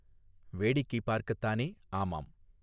வேடிக்கை பார்க்கத்தானே ஆமாம்.